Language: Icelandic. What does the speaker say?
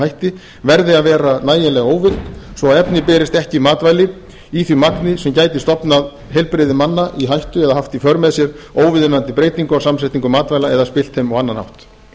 hætti verði að vera nægilega óvirk svo efni berist ekki í matvæli í því markmiði sem gæti stofnað heilbrigði manna í hættu eða haft í för með sér óviðunandi breytingu á samsetningu matvæla eða spillt þeim á annan hátt